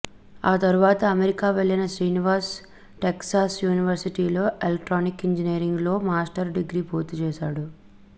ఆ తరువాత అమెరికా వెళ్లిన శ్రీనివాస్ టెక్సాస్ యూనివర్సిటీ లో ఎలక్ట్రానిక్స్ ఇంజనీరింగ్ లో మాస్టర్స్ డిగ్రీ పూర్తి చేసాడు